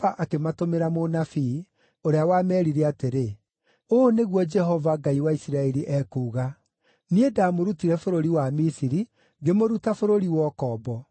akĩmatũmĩra mũnabii, ũrĩa wameerire atĩrĩ, “Ũũ nĩguo Jehova, Ngai wa Isiraeli, ekuuga: Niĩ ndamũrutire bũrũri wa Misiri, ngĩmũruta bũrũri wa ũkombo.